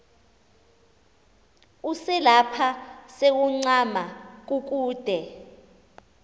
uselapha sewuncama kukude